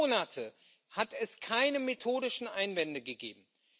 Über Monate hat es keine methodischen Einwände gegeben.